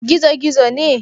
Gizo-gizo ne?